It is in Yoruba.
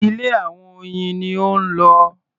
Ilé àwọn oyin ni ó ń lọ.